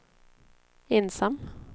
ensam